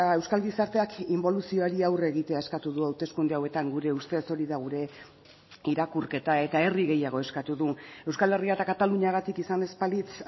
euskal gizarteak inboluzioari aurre egitea eskatu du hauteskunde hauetan gure ustez hori da gure irakurketa eta herri gehiago eskatu du euskal herria eta kataluniagatik izan ez balitz